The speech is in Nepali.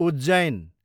उज्जैन